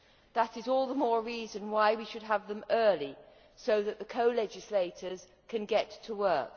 That is all the more reason why we should have them early so that the co legislators can get to work.